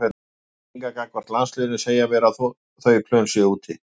Mínar tilfinningar gagnvart landsliðinu segja mér að þau plön séu úti.